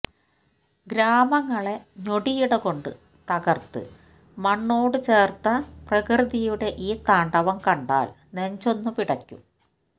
ഗ്രാമങ്ങളെ ഞൊടിയിടകൊണ്ട് തകർത്ത് മണ്ണോടുചേർത്ത പ്രകൃതിയുടെ ഈ താണ്ഡവം കണ്ടാൽ നെഞ്ചൊന്ന് പിടയ്ക്കും